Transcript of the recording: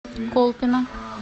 колпино